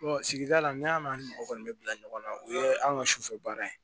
sigida la ne y'a ni mɔgɔ kɔni bɛ bila ɲɔgɔn na o ye an ka sufɛ baara ye